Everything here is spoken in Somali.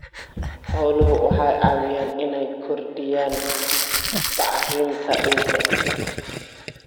Xooluhu waxay caawiyaan inay kordhiyaan bacrinta ciidda.